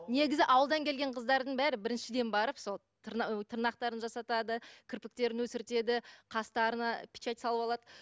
негізі ауылдан келген қыздардың бәрі біріншіден барып сол тырнақтарын жасатады кірпіктерін өсіртеді қастарына печать салып алады